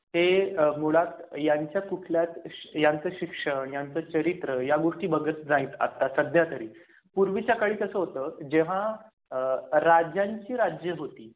जे कोणी पॉलिटिशियन्स आहेत ते मुळात यांच्या कुठल्याच यांचे शिक्षण यांचे चरित्र या गोष्टी बघत नाहीत. आता सध्या तरी पूर्वीच्या काळी कसं होतं जे हां आह राज्यांची राज्य होती.